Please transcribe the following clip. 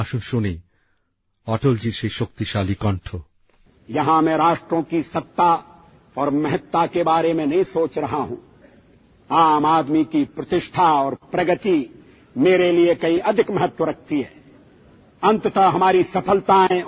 আসুন শুনি অটলজির সেই শক্তিশালী কন্ঠঃ